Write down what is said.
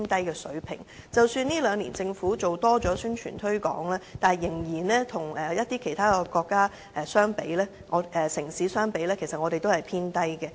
即使這兩年政府比以往多做宣傳推廣，但跟其他城市相比，我們的器官捐贈數字仍是偏低。